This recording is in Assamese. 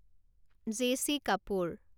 জে.চি. কাপোৰ